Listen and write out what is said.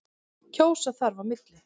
Kjósa þarf á milli.